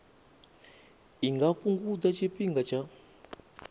i nga fhungudza tshifhinga tsha